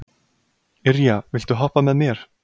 Irja, viltu hoppa með mér?